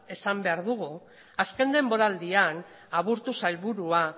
esan behar dugu azken denboraldian aburto sailburua